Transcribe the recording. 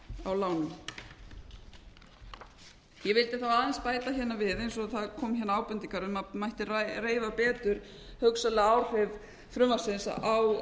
á lánum ég vildi þá aðeins bæta hérna við eins og það komu hérna ábendingar um að mætti reifa betur hugsanlega áhrif frumvarpsins á